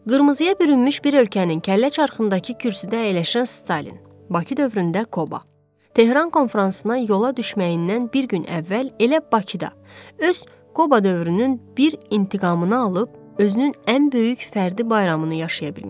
Qırmızıya bürünmüş bir ölkənin kəllə çarxındakı kürsüdə əyləşən Stalin, Bakı dövründə Koba, Tehran konfransına yola düşməyindən bir gün əvvəl elə Bakıda öz Koba dövrünün bir intiqamını alıb, özünün ən böyük fərdi bayramını yaşaya bilmişdi.